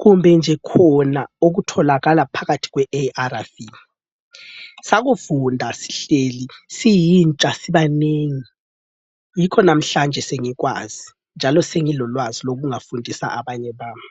kumbenje khona okutholakala phakathi kweARV. Sakufunda sihleli siyintsha sibanengi, yikho namhlanje sengikwazi njalo sengingafundisa abanye bami.